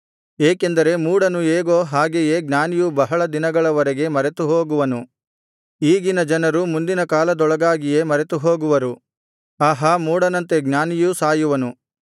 ಏಕೆಂದರೆ ಮೂಢನು ಹೇಗೋ ಹಾಗೆಯೇ ಜ್ಞಾನಿಯೂ ಬಹಳ ದಿನಗಳವರೆಗೆ ಮರೆತುಹೋಗುವನು ಈಗಿನ ಜನರು ಮುಂದಿನ ಕಾಲದೊಳಗಾಗಿಯೇ ಮರೆತುಹೋಗುವರು ಆಹಾ ಮೂಢನಂತೆ ಜ್ಞಾನಿಯೂ ಸಾಯುವನು